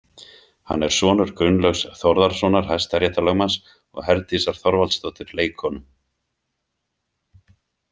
Hann er sonur Gunnlaugs Þórðarsonar hæstaréttarlögmanns og Herdísar Þorvaldsdóttur leikkonu.